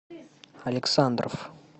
александров